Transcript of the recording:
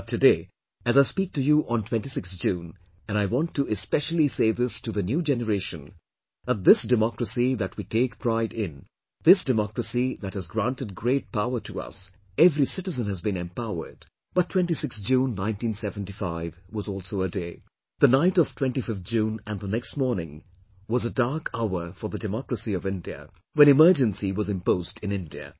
But today, as I speak to you on 26th June, and I want to especially say this to the new generation that this democracy that we take pride in, this democracy that has granted great power to us, every citizen has been empowered... but 26th June 1975 was also a day... the night of 25th June and the next morning, was a dark hour for the democracy of India when Emergency was imposed in India